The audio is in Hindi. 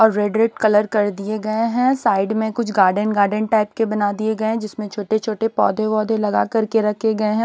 और रेड-रेड कलर कर दिए गए हैं साइड में कुछ गार्डन-गार्डन टाइप के बना दिए गए हैं जिसमें छोटे-छोटे पौधे वोधे लगा करके रखे गए हैं।